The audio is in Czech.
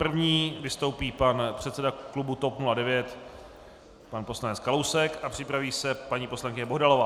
První vystoupí pan předseda klubu TOP 09, pan poslanec Kalousek a připraví se paní poslankyně Bohdalová.